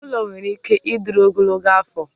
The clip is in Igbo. ụlọ nwere ike ịdịru ogologo afọ